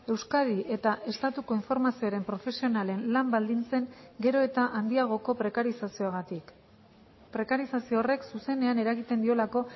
euskadi eta estatu konformazioaren profesionalen lan baldintzen gero eta handiagoko prekarizazioagatik prekarizazio horrek zuzenean eragiten diolako